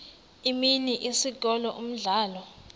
imini isikolo umdlalo